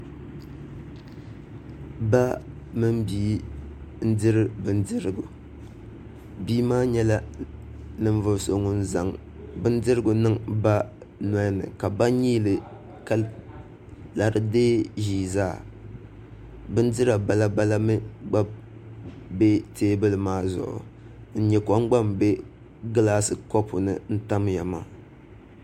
Ba mini bia n diri bindirigu bia maa nyɛla ŋun zaŋ bindirigu niŋ ba nolini ka ba nyiili ka lari deei ʒii zaa bindira bala bala mii gba bɛ teebuli maa zuɣu n nyɛ kom gba n bɛ gilaasi ni kobu ni n tamya maa